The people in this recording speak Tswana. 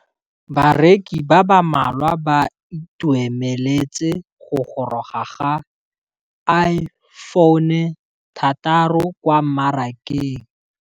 Bareki ba ba malwa ba ituemeletse go gôrôga ga Iphone6 kwa mmarakeng.